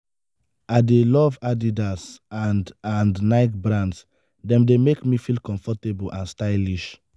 i dey love adidas and and nike brands dem dey make me comfortable and stylish.